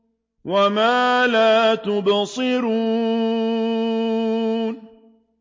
وَمَا لَا تُبْصِرُونَ